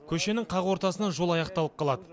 көшенің қақ ортасынан жол аяқталып қалады